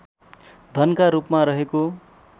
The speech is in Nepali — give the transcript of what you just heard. धनका रूपमा रहेको